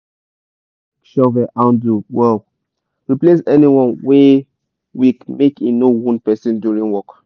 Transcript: make una dey check shovel handle wellreplace anyone wey weakmake e no wound person during work